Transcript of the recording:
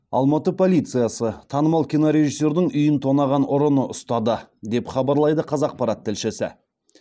алматы полициясы танымал кинорежиссердің үйін тонаған ұрыны ұстады деп хабарлайды қазақпарат тілшісі